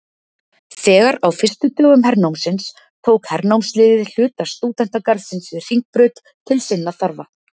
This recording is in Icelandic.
Þegar á fyrstu dögum hernámsins tók hernámsliðið hluta stúdentagarðsins við Hringbraut til sinna þarfa.